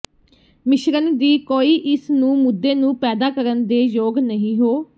ਮਿਸ਼ਰਣ ਦੀ ਕੋਈ ਇਸ ਨੂੰ ਮੁੱਦੇ ਨੂੰ ਪੈਦਾ ਕਰਨ ਦੇ ਯੋਗ ਨਹੀ ਹੋ